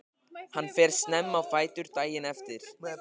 Hann fer snemma á fætur daginn eftir.